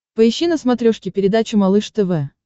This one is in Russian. поищи на смотрешке передачу малыш тв